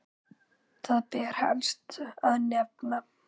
Þar ber helst að nefna